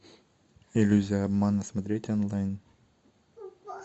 иллюзия обмана смотреть онлайн